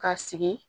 Ka sigi